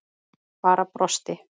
Bara brosti.